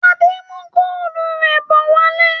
Adé ń mú góólù rẹ̀ bọ̀ wálé.